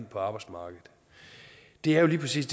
på arbejdsmarkedet det er jo lige præcis